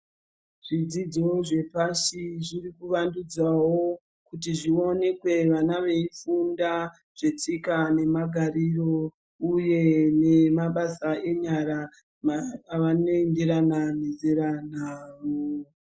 Zvidzidzo zvepashi zviri kuvandudzwawo kuti zvionekwe vana veifunda, zvetsika namagariro, uye nemabasa enyara avaningirana ningirana navo.